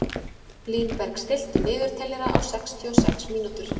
Línberg, stilltu niðurteljara á sextíu og sex mínútur.